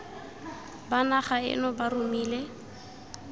ba naga eno ba romile